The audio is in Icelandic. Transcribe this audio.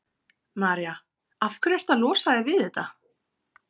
María: Af hverju ertu að losa þig við þetta?